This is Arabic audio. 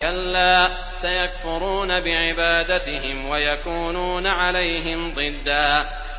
كَلَّا ۚ سَيَكْفُرُونَ بِعِبَادَتِهِمْ وَيَكُونُونَ عَلَيْهِمْ ضِدًّا